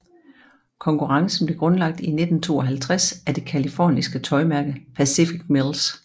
Konkurrencen blev grundlagt i 1952 af det californske tøjmærke Pacific Mills